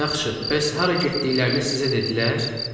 Yaxşı, bəs hara getdiklərini sizə dedilər?